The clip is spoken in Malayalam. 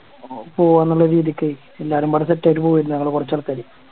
പോവാന്നുള്ളൊരു രീതിക്കായി എല്ലാരും പറഞ്ഞ് Set ആയിട്ട് പോവായിരുന്നു ഞങ്ങള് കൊറച്ചാൾക്കാര്